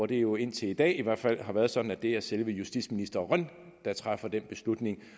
det jo indtil i dag i hvert fald været sådan at det er selve justitsministeren der træffer den beslutning